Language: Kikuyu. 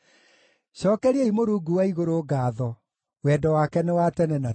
Cookeriai Mũrungu wa igũrũ ngaatho. Wendo wake nĩ wa tene na tene.